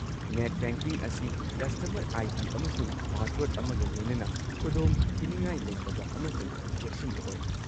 Net banking ꯑꯁꯤ customer I. D. ꯑꯃꯁꯨꯡ password ꯑꯃꯒ ꯂꯣꯏꯅꯅ ꯈꯨꯗꯣꯡꯊꯤꯅꯤꯡꯉꯥꯏ ꯂꯩꯇꯕ ꯑꯃꯁꯨꯡ ꯆꯦꯛꯁꯤꯟꯕ ꯑꯣꯏ꯫